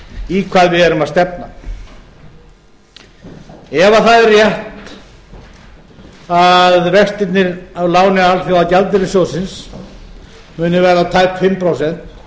í hvað við erum að stefna ef það er rétt að vextirnir af láni alþjóðagjaldeyrissjóðsins muni verða tæp fimm prósent